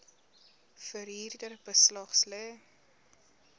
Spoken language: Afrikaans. verhuurder beslag lê